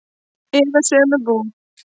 Eða sömu búð.